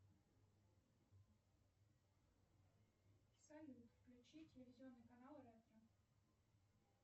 салют включи телевизионный канал ретро